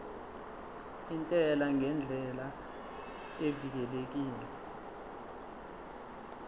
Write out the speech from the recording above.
intela ngendlela evikelekile